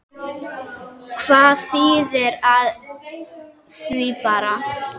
Hvað þýðir af því bara?